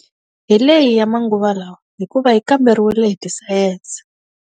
Hi leyi ya manguva lawa, hikuva yi kamberiwile hi ti sayense.